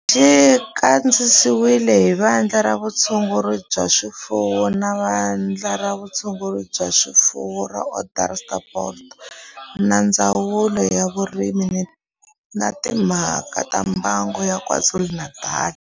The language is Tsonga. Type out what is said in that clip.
Xi kandziyisiwe hi Vandla ra Vutshunguri bya swifuwo ra Vandla ra Vutshunguri bya swifuwo ra Onderstepoort na Ndzawulo ya Vurimi na Timhaka ta Mbango ya KwaZulu-Natal